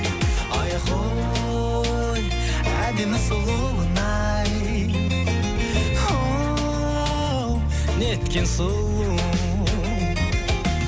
айхой әдемі сұлуын ай оу неткен сұлу